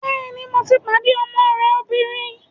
Bẹ́ẹ̀ni, mo ti pàdé ọmọ rẹ obìnrin